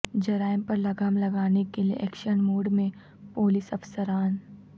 جرائم پر لگام لگانے کے لئے ایکشن موڈ میں پولس افسران